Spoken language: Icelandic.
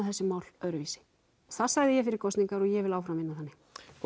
þessi mál öðruvísi það sagði ég fyrir kosningar og ég vil áfram vinna þannig